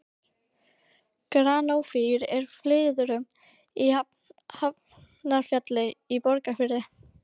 Granófýr úr Flyðrum í Hafnarfjalli í Borgarfirði.